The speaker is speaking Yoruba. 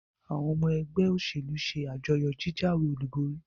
àwọn ọmọ ẹgbẹ́ òṣèlú se àjọyọ̀ jíjáwé-olúborí.